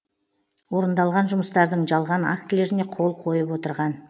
орындалған жұмыстардың жалған актілеріне қол қойып отырған